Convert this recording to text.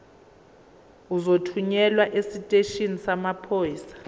uzothunyelwa esiteshini samaphoyisa